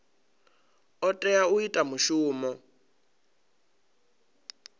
o tea u ita mushumo